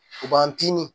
U b'an tinni